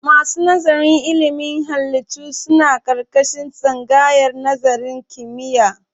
Masu nazarin ilimin halittu suna ƙarƙashin tsangayar nazarin kimiyya.